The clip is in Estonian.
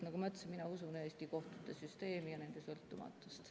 Nagu ma ütlesin, siis mina usun Eesti kohtute süsteemi ja nende sõltumatust.